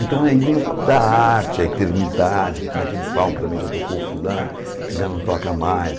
Então aí vem o papo da arte, a eternidade, porque naquele palco também já tocou fulano, que já não toca mais.